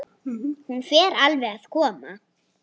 Hún fer alveg að koma.